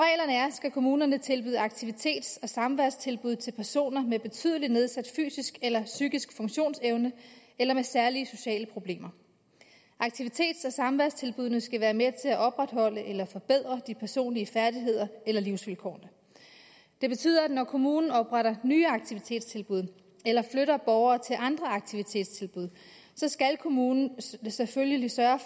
skal kommunerne tilbyde aktivitets og samværstilbud til personer med betydelig nedsat fysisk eller psykisk funktionsevne eller med særlige sociale problemer aktivitets og samværstilbuddene skal være med til at opretholde eller forbedre de personlige færdigheder eller livsvilkårene det betyder at når kommunen opretter nye aktivitetstilbud eller flytter borgere til andre aktivitetstilbud så skal kommunen selvfølgelig sørge